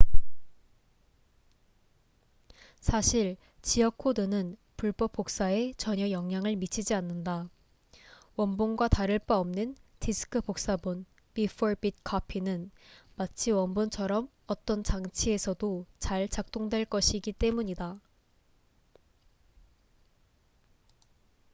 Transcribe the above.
사실 지역 코드는 불법 복사에 전혀 영향을 미치지 않는다. 원본과 다를 바 없는 디스크 복사본bit-for-bit copy은 마치 원본처럼 어떤 장치에서도 잘 작동될 것이기 때문이다